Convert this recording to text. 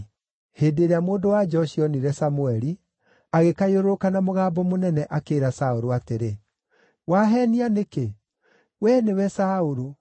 Hĩndĩ ĩrĩa mũndũ-wa-nja ũcio onire Samũeli, agĩkayũrũrũka na mũgambo mũnene, akĩĩra Saũlũ atĩrĩ, “Waheenia nĩkĩ? Wee nĩwe Saũlũ!”